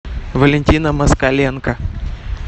валентина москаленко